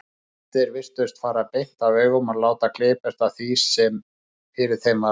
Flestir virtust fara beint af augum og láta glepjast af því sem fyrir þeim varð.